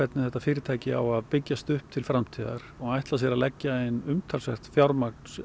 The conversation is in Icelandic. þetta fyrirtæki á að byggjast upp til framtíðar og ætla sér sjálfir að leggja inn umtalsvert fjármagn